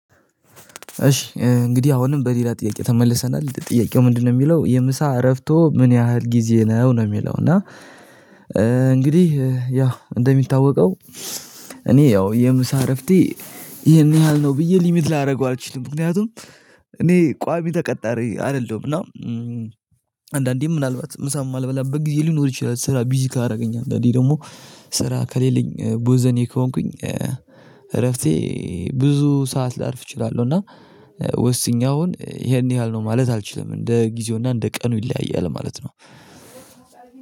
እሺ እንግዲህ አሁንም በሌላ ጥያቄ ተመልሰናል ጥያቄው ምንድነው? የሚለው የምሳ እረፍቶ ምን ያህል ጊዜ ነው ነው የሚለው እና እንግዲህ ያ እንደሚታወቀው። እኔ ያው የምሳ እረፍቴ ይሄን ያህል ነው ብዬ ሊሚት ላደርገው አልችልም። ምክንያቱም እኔ ቋሚ ተቀጣሪ አይደለሁም። እና አንዳንዴም ምናልባት ምሳ የማልበላበት ጊዜ ሊኖር ይችላል። ስራ ቢዚ ካደረገኝ አንዳንዴ ደግሞ ስራ ከሌለኝ ቡዘኔ ከሆንኩኝ እረፍቴ ብዙ ሰዓት ላርፍ እችላለሁ። እና ወስኜ አሁን ይሄን ያህል ነው ማለት አልችልም። እንደ ጊዜውና እንደ ቀኑ ይለያያል ማለት ነው።